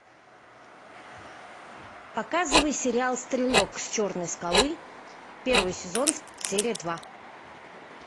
показывай сериал стрелок с черной скалы первый сезон серия два